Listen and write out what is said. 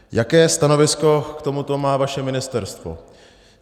Jaké stanovisko k tomuto má vaše ministerstvo?